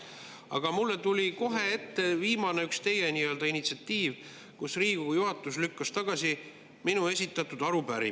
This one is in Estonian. Aga mulle tuli kohe ette üks teie viimane nii-öelda initsiatiiv, kui Riigikogu juhatus lükkas tagasi minu esitatud arupärimise.